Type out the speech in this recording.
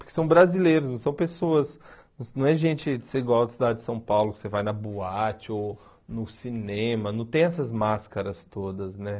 Porque são brasileiros, não são pessoas... Não é gente de ser igual a cidade de São Paulo, que você vai na boate ou no cinema, não tem essas máscaras todas, né?